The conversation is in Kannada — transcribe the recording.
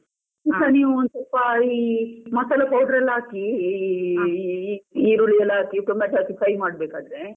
ಸ್ವಲ್ಪ ಈ ಮಸಾಲ powder ಎಲ್ಲ ಹಾಕಿ ಈ ಈ~ ಈರುಳ್ಳಿ ಎಲ್ಲ ಹಾಕಿ ಟೊಮೇಟೊ ಹಾಕಿ ಕೈ ಮಾಡ್ಬೇಕಾದ್ರೆ.